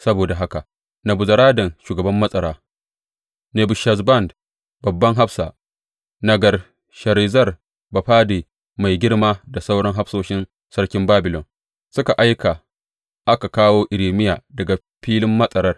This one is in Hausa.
Saboda haka Nebuzaradan shugaban matsara, Nebushazban babban hafsa, Nergal Sharezer bafade mai girma da sauran hafsoshin sarkin Babilon suka aika aka kawo Irmiya daga filin matsar.